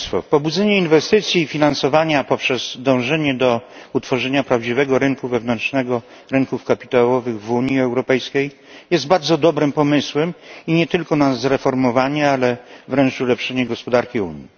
Pobudzenie inwestycji i finansowania poprzez dążenie do utworzenia prawdziwego rynku wewnętrznego, rynków kapitałowych w Unii Europejskiej jest bardzo dobrym pomysłem i nie tylko dla zreformowania, ale wręcz ulepszenia gospodarki Unii.